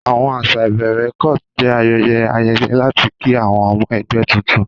Àwọn àṣà ìbẹ̀rẹ̀ cult jẹ́ ayẹyẹ ayẹyẹ láti kí àwọn ọmọ ẹgbẹ́ tuntun.